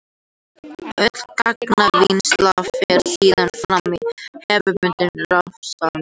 Öll gagnavinnsla fer síðan fram í hefðbundnum rafrásum.